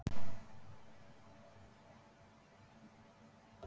Er til betri gjöf en að gefa öðrum líf?